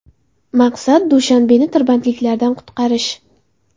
Maqsad Dushanbeni tirbandliklardan qutqarish.